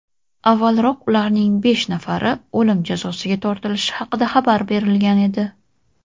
Avvalroq ularning besh nafari o‘lim jazosiga tortilishi haqida xabar berilgan edi.